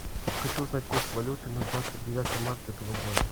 хочу узнать курс валюты на двадцать девятое марта этого года